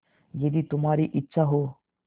यदि तुम्हारी इच्छा हो